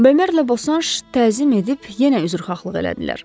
Bemerlə Bosanş təzim edib yenə üzrxahlıq etdilər.